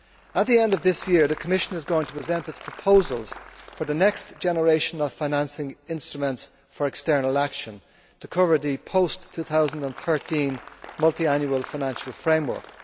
At the end of this year, the Commission is going to present its proposals for the next generation of financing instruments for external action, to cover the post 2013 Multiannual Financial Framework.